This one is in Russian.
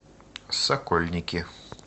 сокольники